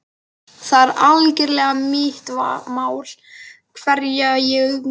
Það er algerlega mitt mál hverja ég umgengst.